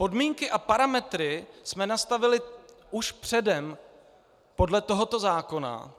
Podmínky a parametry jsme nastavili už předem podle tohoto zákona.